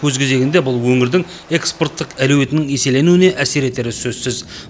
өз кезегінде бұл өңірдің экспорттық әлеуетінің еселенуіне әсер етері сөзсіз